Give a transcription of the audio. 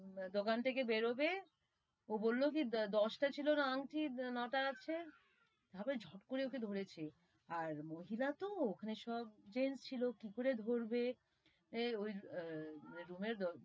দোকান থেকে বেরোবে ও বললো কি দশ টা ছিল না আংঠি? ন টা আছে, তারপরে ঝপ করে ওকে ধরেছে, আর মহিলা তো, ওখানে সব gents ছিল, কি করে ধরবে? room এর,